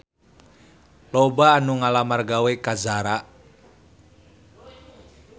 Loba anu ngalamar gawe ka Zara